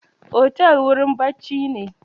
Otel wurin bacci ne